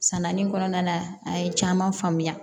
Sanani kɔnɔna na a ye caman faamuya